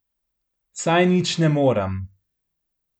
Saj nič ne morem.